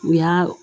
U y'a